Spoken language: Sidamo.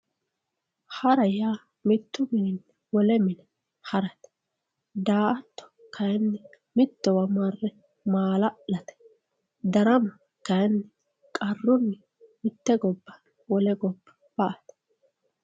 hara yaa mittu mininni wole mine harate. daa"atto kayiinni mittowa marre maala'late. darama kayiinni qarrunni mitte gobba wole gobba ba"ate.